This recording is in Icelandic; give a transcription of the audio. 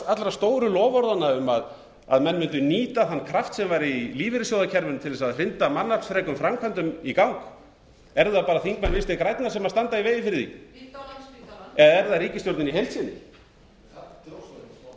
allra stóru loforðanna um að menn mundu nýta þann kraft sem væri í lífeyrissjóðakerfinu til þess að hrinda mannaflsfrekum framkvæmdum gang eru það bara þingmenn vinstri grænna sem standa á ái fyrir því hringdu á landspítalann eða er það ríkisstjórnin í